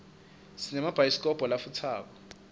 sinemabhayidikobho latfusako